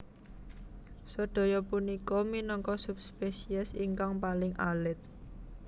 Sedaya punika minangka subspesies ingkang paling alit